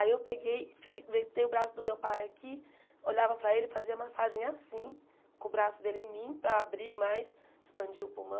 Aí eu peguei, fe ventei o braço do meu pai aqui, olhava para ele e fazia massagem assim, com o braço dele em mim, para abrir mais, expandir o pulmão.